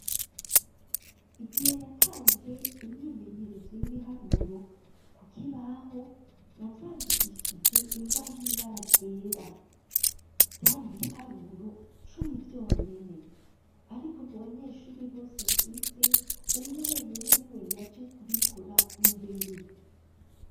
Igihe natanze, imyimenyerezo y'ibiharuro, ku kibaho, navyandikishije ingwa y'ibara ryera; vyari ibiharuro cumi, vyonyene; ariko, mu banyeshuri bose mfise, umwe wenyene niwe yaje, kubikora imbere.